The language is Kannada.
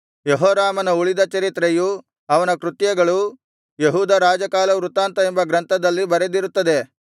ಯೆಹೋರಾಮನ ಉಳಿದ ಚರಿತ್ರೆಯೂ ಅವನ ಕೃತ್ಯಗಳೂ ಯೆಹೂದ ರಾಜಕಾಲವೃತ್ತಾಂತ ಎಂಬ ಗ್ರಂಥದಲ್ಲಿ ಬರೆದಿರುತ್ತದೆ